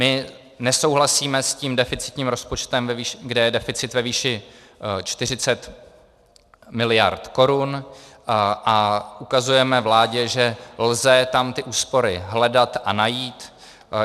My nesouhlasíme s tím deficitním rozpočtem, kde je deficit ve výši 40 miliard korun, a ukazujeme vládě, že lze tam ty úspory hledat a najít.